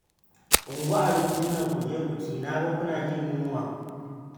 Ungo abincin nan ku je ku ci na ga kuna jin yunwa